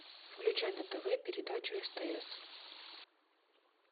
включай на тв передачу стс